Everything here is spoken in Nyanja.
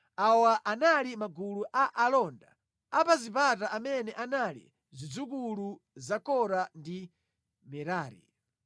Awa anali magulu a alonda a pa zipata amene anali zidzukulu za Kora ndi Merari.